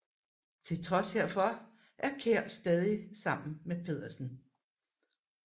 Til trods herfor er Kjær stadig sammen med Pedersen